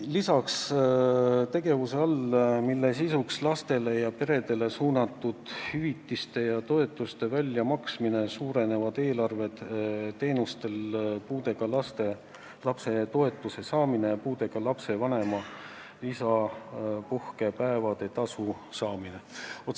Lisaks suurenevad tegevusreal, mille sisuks on lastele ja peredele suunatud hüvitiste ja toetuste väljamaksmine, summad puudega lapse toetuse maksmiseks ja puudega lapse vanema lisapuhkepäevade tasu maksmiseks.